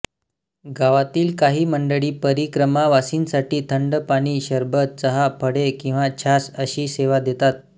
गावातील काही मंडळी परिक्रमावासींसाठी थंड पाणी सरबत चहा फळे किंवा छास अशी सेवा देतात